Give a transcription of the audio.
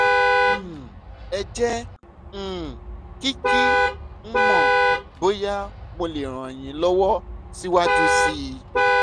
um ẹ jẹ́ um kí kí n mọ̀ bóyá mo lè ràn yín lọ́wọ́ síwájú sí um i